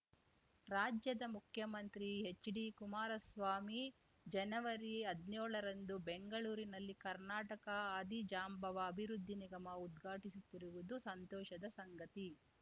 ರಾಜ್ಯದ ಮುಖ್ಯಮಂತ್ರಿ ಹೆಚ್‌ಡಿಕುಮಾರಸ್ವಾಮಿ ಜನವರಿಹದ್ನ್ಯೋಳರಂದು ಬೆಂಗಳೂರಿನಲ್ಲಿ ಕರ್ನಾಟಕ ಆದಿಜಾಂಬವ ಅಭಿವೃದ್ಧಿ ನಿಗಮ ಉದ್ಘಾಟಿಸುತ್ತಿರುವುದು ಸಂತೋಷದ ಸಂಗತಿ